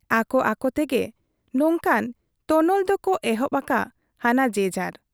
ᱟᱠᱚ ᱟᱠᱚᱛᱮ ᱜᱮ ᱱᱚᱝᱠᱟᱱ ᱛᱚᱱᱚᱞ ᱫᱚᱠᱚ ᱮᱦᱚᱵ ᱟᱠᱟ ᱦᱟᱱᱟ ᱡᱮᱡᱷᱟᱨ ᱾